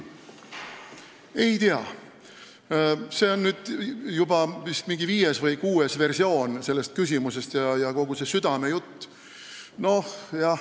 Ei tea, see on nüüd vist juba mingi viies või kuues versioon sellest küsimusest, kogu see südamejutt.